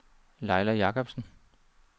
Laila Jakobsen